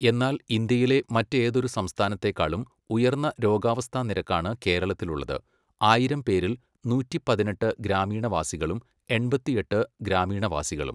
എന്നാൽ ഇന്ത്യയിലെ മറ്റേതൊരു സംസ്ഥാനത്തേക്കാളും ഉയർന്ന രോഗാവസ്ഥാനിരക്കാണ് കേരളത്തിലുള്ളത്, ആയിരം പേരിൽ 118 ഗ്രാമീണവാസികളും 88 ഗ്രാമീണവാസികളും